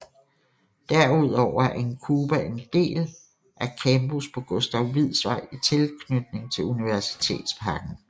Derudover er INCUBA en del af campus på Gustav Wieds Vej i tilknytning til Universitetsparken